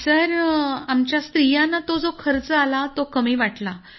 sir आमच्या स्त्रियांना तो जो खर्च आला तो कमी वाटला